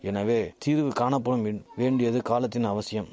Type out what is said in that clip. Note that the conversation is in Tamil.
எனவே தீர்வு காணபடும் என் வேண்டியது காலத்தின் அவசியம்